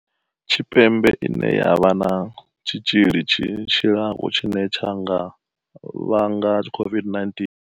Tshipembe ine ya vha na tshi tzhili tshi tshilaho tshine tsha nga vhanga COVID-19.